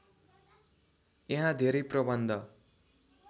यहाँ धेरै प्रबन्ध